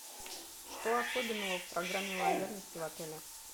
что особенного в программе лояльности в отеле